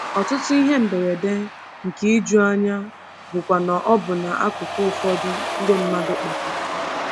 Ọtụtụ ihe mberede, nke ijuanya, bụkwa n’ọbụna akụkụ ụfọdụ nke mmadụ kpatara.